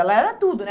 Ela era tudo, né?